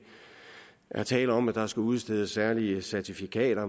er tale om at der skal udstedes særlige certifikater